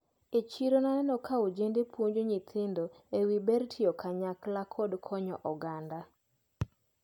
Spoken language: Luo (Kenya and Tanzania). E chiro naneno ka ojende puonjo nyithindo ewi ber tiyo kanyakla kod konyo oganda.